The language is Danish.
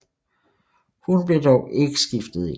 Hun blev dog ikke skiftet ind